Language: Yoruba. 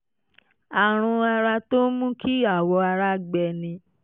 àrùn ara tó ń mú kí awọ ara gbẹ ni